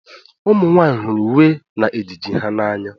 ụmụ nwanyị hụrụ uwe na ejiji ha n'anya